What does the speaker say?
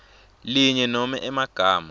linye nobe emagama